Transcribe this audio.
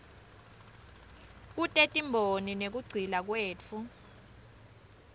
kutetimboni nekugcila kwetfu